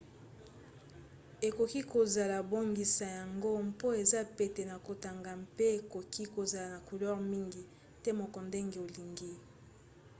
ekoki kozala bongisa yango mpo eza pete na kotanga mpe ekoki kozala na couleur mingi to moke ndenge olingi